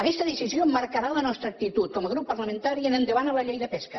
aquesta decisió marcarà la nostra actitud com a grup parlamentari en endavant a la llei de pesca